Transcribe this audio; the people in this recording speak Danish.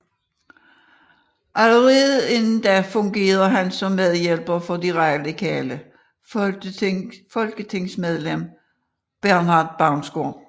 Allerede inden da fungerede han som medhjælper for det radikale folketingsmedlem Bernhard Baunsgaard